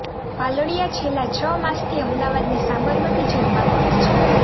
પાલડિયા છેલ્લા છ માસથી અમદાવાદની સાબરમતી જેલમાં બંધ છે